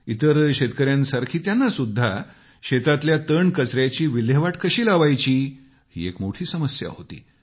इतर शेतकऱ्यांसारखी त्यांना सुद्धा शेतातल्या तणकचऱ्याची विल्हेवाट कशी लावायची ही एक मोठी समस्या होती